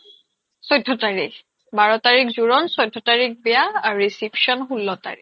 চৈধ্য তাৰিখ বাৰ তাৰিখ জোৰণ চৈধ্য তাৰিখ বিয়া আৰু reception ষোল্ল তাৰিখ